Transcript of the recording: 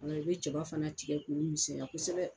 Ɔ i bɛ jaba fana tigɛ k'o misɛnya kosɛbɛ